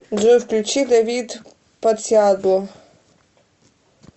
джой включи давид подсиадло